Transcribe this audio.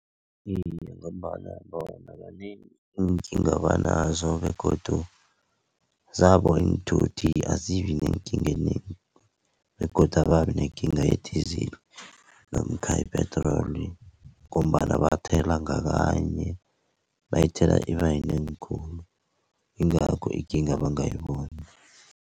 Iye, ngombana bona kanengi iinkinga abanazo begodu zabo iinthuthi azibi neenkinga ezinengi begodu ababi nekinga ye-diesel namkha ye-petrol ngombana bathela ngakanye bayithela iba yinengi khulu ingakho ikinga bangayiboni.